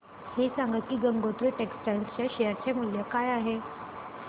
हे सांगा की गंगोत्री टेक्स्टाइल च्या शेअर चे मूल्य काय आहे